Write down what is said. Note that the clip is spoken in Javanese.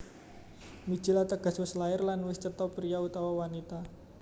Mijil Ateges wis lair lan wis cetha priya utawa wanita